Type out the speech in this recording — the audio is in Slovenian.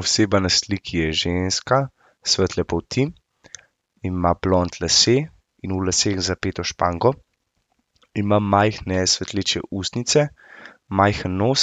Oseba na sliki je ženska, svetle polti, ima blond lase in v laseh zapeto špango. Ima majhne svetleče ustnice, majhen nos,